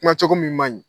Kuma cogo min man ɲi